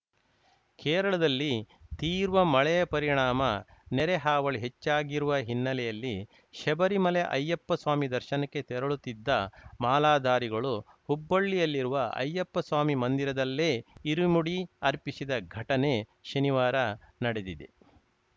ಕೇರಳದಲ್ಲಿ ತೀವ್ರ ಮಳೆಯ ಪರಿಣಾಮ ನೆರೆ ಹಾವಳಿ ಹೆಚ್ಚಾಗಿರುವ ಹಿನ್ನೆಲೆಯಲ್ಲಿ ಶಬರಿಮಲೆ ಅಯ್ಯಪ್ಪ ಸ್ವಾಮಿ ದರ್ಶನಕ್ಕೆ ತೆರಳುತ್ತಿದ್ದ ಮಾಲಾಧಾರಿಗಳು ಹುಬ್ಬಳ್ಳಿಯಲ್ಲಿರುವ ಅಯ್ಯಪ್ಪ ಸ್ವಾಮಿ ಮಂದಿರದಲ್ಲೇ ಇರುಮುಡಿ ಅರ್ಪಿಸಿದ ಘಟನೆ ಶನಿವಾರ ನಡೆದಿದೆ